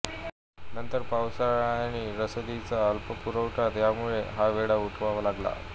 नंतर पावसाळा आणि रसदीचा अल्पपुरवठा यामुळे हा वेढा उठवावा लागला